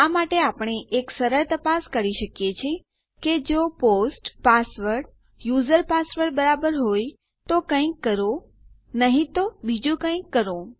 આ માટે આપણે એક સરળ તપાસ કરી શકીએ છીએ કે જો પોસ્ટ પાસવર્ડ યુઝર પાસવર્ડ બરાબર હોય તો કંઈક કરો નહી તો બીજું કંઈક કરો